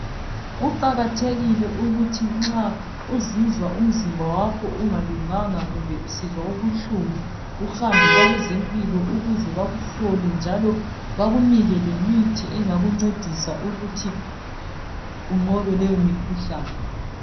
Kuqakathekile ukuthi nxa uzizwa umzimba wakho ungalunganga kumbe usizwa ubuhlungu uhambe kwabezempilakahle ukuze bakuhlole bakunike lemithi ukuze unqobe lumkhuhlane.